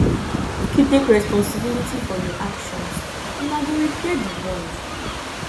make you take responsibility for your actions una go repair di bond